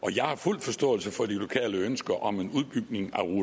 og jeg har fuld forståelse for de lokale ønsker om en udbygning